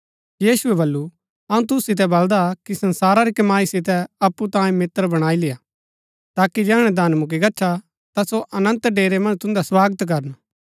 यीशुऐ बल्लू अऊँ तुसु सितै बलदा कि संसारा री कमाई सितै अप्पु तांई मित्र बणाई लेआ ताकि जैहणै धन मुक्‍की गच्छा ता ता सो अनन्त डेरै मन्ज तुन्दा स्वागत करन